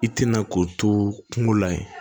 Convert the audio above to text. I tɛna k'o to kungo la yen